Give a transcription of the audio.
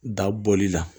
Da bɔli la